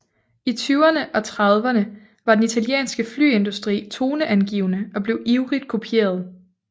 I tyverne og trediverne var den italienske flyindustri toneangivende og blev ivrigt kopieret